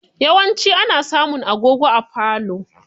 Yawanci ana samun agogo a falo.